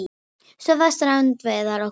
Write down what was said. Stöðva strandveiðar á morgun